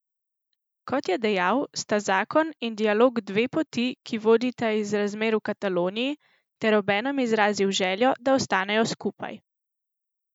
Kot je dejal, sta zakon in dialog dve poti, ki vodita iz razmer v Kataloniji, ter obenem izrazil željo, da ostanejo skupaj.